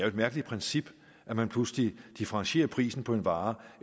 et mærkeligt princip at man pludselig differentierer prisen på en vare